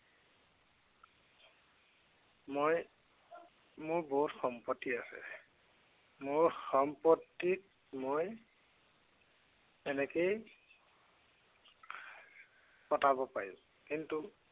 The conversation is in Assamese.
মই মোৰ বহুত সম্পত্তি আছে। মোৰ সম্পত্তিত মই এনেকেই কটাব পাৰিম। কিন্তু